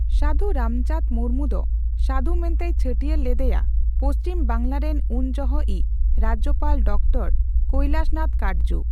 ᱥᱟᱹᱫᱷᱩ ᱨᱟᱢᱪᱟᱸᱫᱽ ᱢᱩᱨᱢᱩ ᱫᱚ ᱥᱟᱹᱫᱷᱩ ᱢᱮᱱᱛᱮᱭ ᱪᱷᱟᱹᱴᱭᱟᱹᱨ ᱞᱮᱫᱮᱭᱟ ᱯᱚᱪᱷᱤᱢ ᱵᱟᱝᱞᱟ ᱨᱮᱱ ᱩᱱ ᱡᱚᱦᱚᱜᱼᱤᱡ ᱨᱟᱡᱽᱡᱚᱯᱟᱞ ᱰᱚᱠᱴᱚᱨ ᱠᱳᱹᱭᱞᱟᱥᱱᱟᱛᱷ ᱠᱟᱴᱡᱩ ᱾